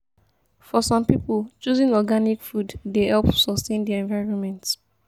For some pipo choosing organic food dey help sustain di environment